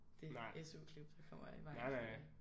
Det SU-klip der kommer i vejen for det